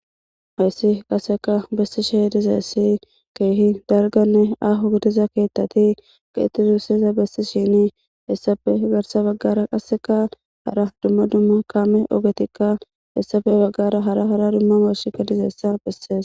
Hayssi qaseka bessi shi dizeessi keehi darganne ahogdiza keettati ka itti zuussesa bessi shini hessafe garsa baggara qasseka hara dumma dumma kaame ogetikka hessafe baggara hara hara dumma marshkka dizeessa bessees.